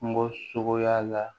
Kungo suguya la